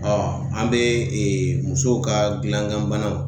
Ɔɔ an be ee musow ka gilan gan banaw